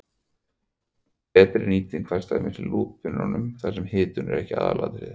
Betri nýting fæst til dæmis í flúrpípum þar sem hitun er ekki aðalatriðið.